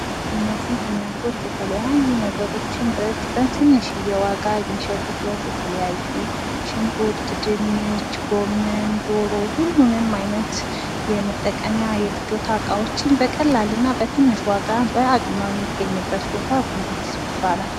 እነዚህ እናቶች የተለያዩ ነገሮችን በትንሽ ዋጋ የሚሸጡበት ቦታ ነው ።ሽንኩርት፣ ድንች፣ ጎመን፣ ዶሮ ሁሉንም አይነት የመጠቀሚያ እቃ በቀላል ዋጋ የሚገኝበት ቦታ ጉልት ይባላል።